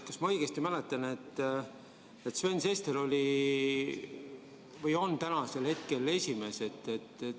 Kas ma mäletan õigesti, et Sven Sester oli või on praegu ka esimees?